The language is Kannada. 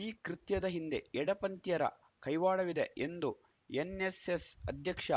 ಈ ಕೃತ್ಯದ ಹಿಂದೆ ಎಡ ಪಂಥೀಯರ ಕೈವಾಡವಿದೆ ಎಂದು ಎನ್‌ಎಸ್‌ಎಸ್‌ ಅಧ್ಯಕ್ಷ